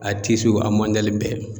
A a mɔdɛli bɛɛ.